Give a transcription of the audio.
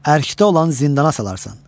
Ərşdə olan zindana salarsan.